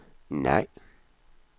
nej